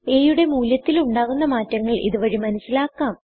a യുടെ മൂല്യത്തിൽ ഉണ്ടാകുന്ന മാറ്റങ്ങൾ ഇതു വഴി മനസിലാക്കാം